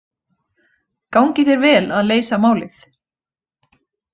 Gangi þér vel að leysa málið.